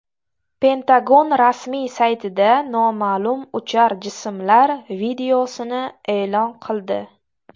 Pentagon rasmiy saytida noma’lum uchar jismlar videosini e’lon qildi.